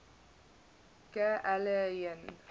ga aliyin